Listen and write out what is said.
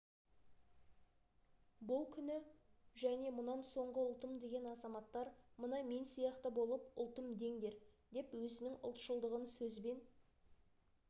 бұл күні және мұнан соңғы ұлтым деген азаматтар мына мен сияқты болып ұлтым деңдер деп өзінің ұлтшылдығын сөзбен